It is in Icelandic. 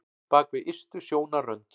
Bak við ystu sjónarrönd